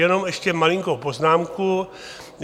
Jenom ještě malinkou poznámku.